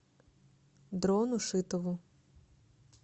дрону шитову